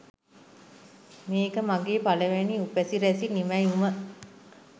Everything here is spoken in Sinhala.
මේක මගේ පලවෙනි උපසිරැසි නිමැවුම